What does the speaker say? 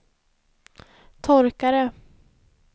torkare